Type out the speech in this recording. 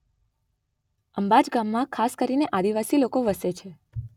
અંબાચ ગામમાં ખાસ કરીને આદિવાસી લોકો વસે છે.